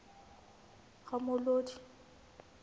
ramolodi